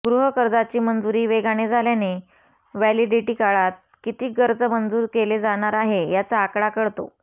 गृहकर्जाची मंजुरी वेगाने झाल्याने वॅलिडिटी काळात किती कर्ज मंजूर केले जाणार आहे याचा आकडा कळतो